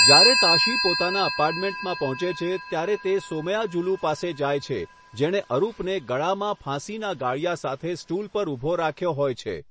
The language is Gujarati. જ્યારે તાશી પોતાના એપાર્ટમેન્ટમાં પહોંચે છે, ત્યારે તે સોમયાજુલુ પાસે જાય છે, જેણે અરુપને ગળામાં ફાંસીના ગાળિયા સાથે સ્ટૂલ પર ઊભો રાખ્યો હોય છે.